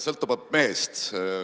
Sõltuvalt mehest.